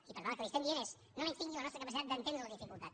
i per tant el que li diem és no menystingui la nostra capacitat d’entendre la dificultat